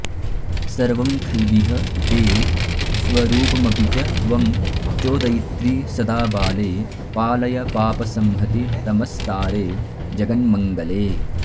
सर्वं खल्विह ते स्वरूपमपि च त्वं चोदयित्री सदा बाले पालय पापसंहतितमस्तारे जगन्मङ्गले